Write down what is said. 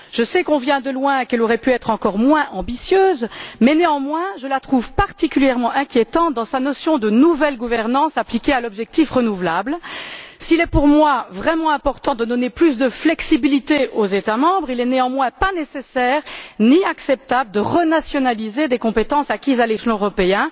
Je sais qu'on vient le loin et qu'elle aurait pu être encore moins ambitieuse, mais je la trouve particulièrement inquiétante dans sa notion de nouvelle gouvernance appliquée à l'objectif renouvelable. S'il est pour moi vraiment important de donner plus de flexibilité aux États membres, il n'est néanmoins ni nécessaire, ni acceptable de renationaliser des compétences acquises à l'échelon européen.